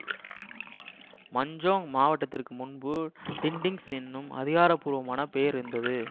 Manjung மாவட்டத்திற்கு முன்பு Dindings எனும் அதிகார பூர்வமான பெயர் இருந்தது